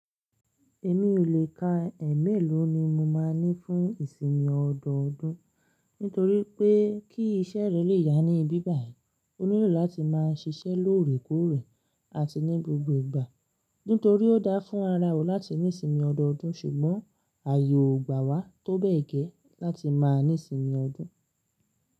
Èmi ò lè ka, ẹ́ẹ̀mélòó ni mo máa ní fún ìsinmi ọdọọdún nítorí pé kí iṣẹ́ rẹ́ lè yá ní bíbàì, o nílò láti máa ṣiṣẹ́ lóòrèkóòrè àti ní gbogbo ìgbà. Nítorí ó dáa fún ara o láti ní sinmi ọdọọdún ṣùgbọ́n ààyè ò gbà wá tó bẹ́ẹ̀ gẹ́ láti máa ní sinmi ọdún.